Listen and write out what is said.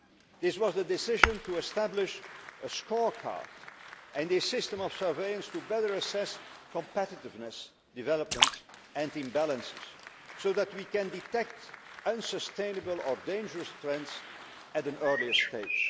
This was the decision to establish a scorecard and a system of surveillance to better assess competitiveness developments and imbalances so that we can detect unsustainable or dangerous trends at an earlier stage.